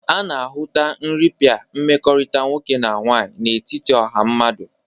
A na-ahụta nrịpịa mmekọrịta nwoke na nwaanyị n'etiti ọha mmadụ.